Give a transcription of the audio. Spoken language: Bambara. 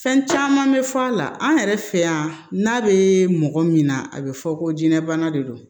Fɛn caman bɛ fɔ a la an yɛrɛ fɛ yan n'a bɛ mɔgɔ min na a bɛ fɔ ko jinɛ bana de don